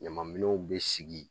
Ɲamaminɛnw bɛ sigi